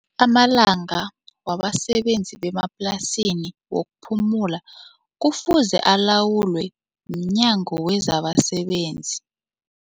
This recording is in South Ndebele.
Amalanga wabasebenzi bemaplasini wokuphumula kufuze alawulwe mNyango wezabaSebenzi.